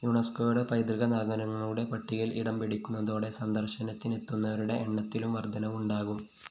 യുനെസ്‌കോയുടെ പൈതൃക നഗരങ്ങളുടെ പട്ടികയില്‍ ഇടംപിടിക്കുന്നതോടെ സന്ദര്‍ശനത്തിനെത്തുന്നവരുടെ എണ്ണത്തിലും വര്‍ധനവുണ്ടാക്കും